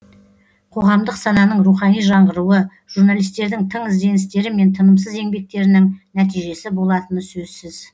қоғамдық сананың рухани жаңғыруы журналистердің тың ізденістері мен тынымсыз еңбектерінің нәтижесі болатыны сөзсіз